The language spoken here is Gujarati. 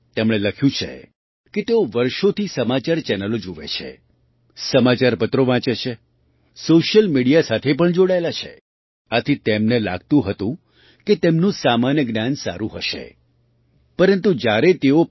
તેમણે લખ્યું છે કે તેઓ વર્ષોથી સમાચાર ચેનલો જુએ છે સમાચારપત્રો વાંચે છે સૉશિયલ મિડિયા સાથે પણ જોડાયેલા છે આથી તેમને લાગતું હતું કે તેમનું સામાન્ય જ્ઞાન સારું હશે પરંતુ જ્યારે તેઓ પી